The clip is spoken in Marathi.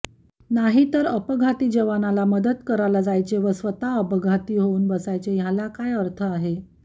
नाहीतर अपघाती जवानाला मदत करायला जायचे व स्वतः अपघाती होऊन बसायचे ह्याला काय अर्थ आहे